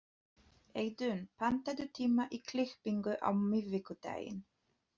Eiðunn, pantaðu tíma í klippingu á miðvikudaginn.